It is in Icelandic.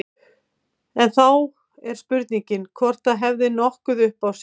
En þá er spurningin hvort það hefði nokkuð upp á sig.